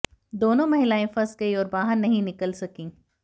दोनों महिलाएं फंस गईं और बाहर नहीं निकल सकीं